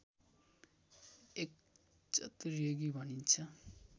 एक चतुर्युगी भनिन्छ